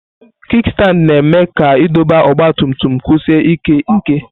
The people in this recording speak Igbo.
Kikstandi na-eme ka idọba ọgba tum tum kwụsie ike nke.